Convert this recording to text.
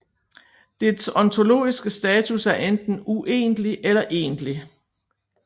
Dets ontologiske status er enten uegentlig eller egentlig